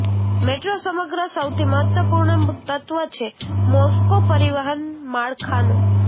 metro સમગ્ર સૌથી મહત્વપૂર્ણ તત્વ છે મોસ્કો પરિવહન માળખાનો